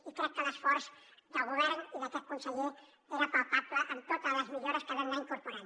i crec que l’esforç del govern i d’aquest conseller era palpable en totes les millores que vam anar incorporant